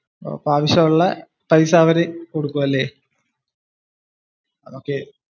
അപ്പോ ആവശ്യം ഉള്ള പൈസ അവര് കൊടുക്കും അല്ലെ? ok